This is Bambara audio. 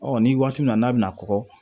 ni waati min na n'a bɛna kɔgɔ